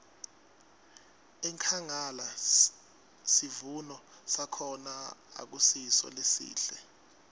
enkhangala sivuno sakhona akusiso lesihle